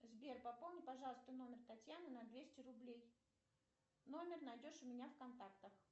сбер пополни пожалуйста номер татьяны на двести рублей номер найдешь у меня в контактах